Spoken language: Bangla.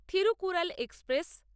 থিরুকুরাল এক্সপ্রেস